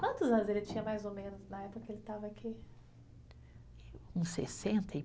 Quantos anos ele tinha, mais ou menos, na época que ele estava aqui? Uns sessenta e